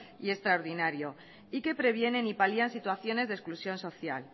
y extraordinario y que previenen y palian situaciones de exclusión social